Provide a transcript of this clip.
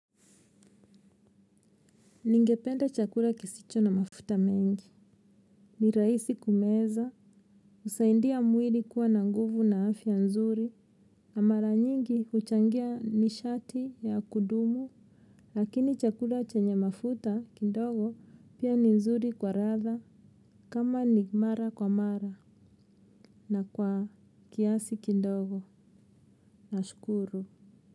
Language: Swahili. Ningependa chakula kisicho na mafuta mengi. Ni rahisi kumeza. Usaindia mwiri kuwa na nguvu na afya nzuri. Mara nyingi huchangia nishati ya kudumu. Lakini chakura chenye mafuta kindogo pia ni nzuri kwa ratha. Kama ni mara kwa mara. Na kwa kiasi kindogo. Na shukuru.